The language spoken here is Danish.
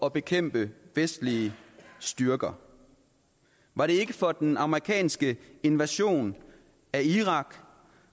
at bekæmpe vestlige styrker var det ikke for den amerikanske invasion af irak